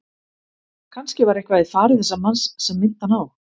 Kannske var eitthvað í fari þessa manns sem minnti hann á